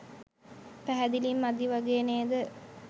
පැහැදිලි මදි වගේ නේද?